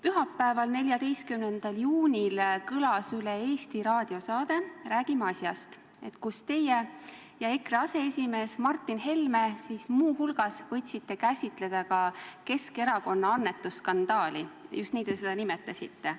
Pühapäeval, 14. juunil kõlas üle Eesti raadiosaade "Räägime asjast", kus teie ja EKRE aseesimees Martin Helme muu hulgas võtsite käsitleda Keskerakonna annetusskandaali, just nii te seda nimetasite.